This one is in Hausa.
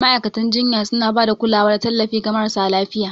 Ma'aikatan jinya suna ba da kulawa da tallafi ga marasa lafiya.